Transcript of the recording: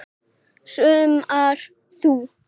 Saumar þú?